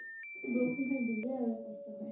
বৰষুনতো দিলে আৰু কষ্ট হয়।